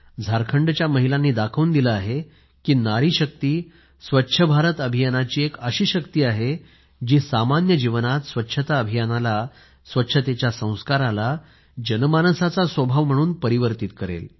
झारखंडच्या महिलांनी दाखवून दिले आहे की नारी शक्ती स्वच्छ भारत अभियांनाची एक अशी शक्ती आहे जी सामान्य जीवनात स्वच्छता अभियानाला स्वच्छतेच्या संस्काराला जनमानसाचा स्वभाव म्हणून परावर्तीत करेल